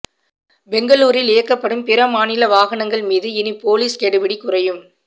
பெங்களூரில் இயக்கப்படும் பிற மாநில வாகனங்கள் மீது இனி போலீஸ் கெடுபிடி குறையும்